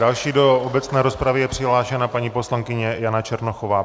Další do obecné rozpravy je přihlášena paní poslankyně Jana Černochová.